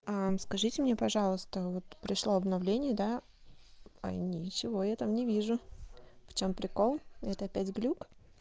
скажите мне пожалуйста вот пришло обновление да а и ничего я там не вижу в чём прикол это опять глюк